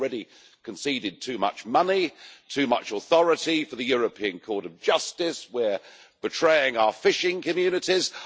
We've already conceded too much money, too much authority for the European Court of Justice and we're betraying our fishing communities.